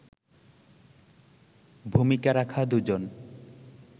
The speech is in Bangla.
ভূমিকা রাখা দুজন